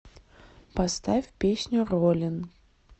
поставь песню роллин